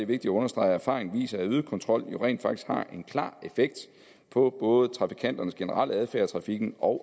vigtigt at understrege at erfaringen viser at øget kontrol rent faktisk har en klar effekt på både trafikanternes generelle adfærd i trafikken og